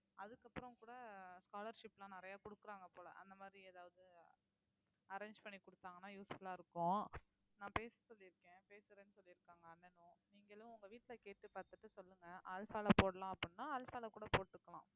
அதுக்கப்புறம் கூட scholarship லாம் நிறைய குடுக்கறாங்க போல அந்த மாதிரி ஏதாவது arrange பண்ணி குடுத்தாங்கன்னா useful ஆ இருக்கும் நான் பேச சொல்லிருக்கேன் பேசுறேன்னு சொல்லிருக்காங்க அண்ணனும் நீங்களும் உங்க வீட்டுல கேட்டு பார்த்துட்டு சொல்லுங்க அல்ஃபால போடலாம் அப்படின்னா அல்ஃபால கூட போட்டுக்கலாம்